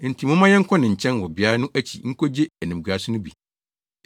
Enti momma yɛnkɔ ne nkyɛn wɔ beae no akyi nkogye animguase no bi.